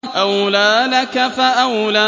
أَوْلَىٰ لَكَ فَأَوْلَىٰ